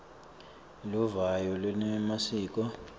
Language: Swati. eluvo kanye newemasiko